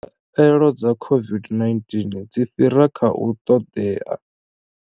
Khaelo dza COVID-19 dzi fhira kha u ṱoḓea.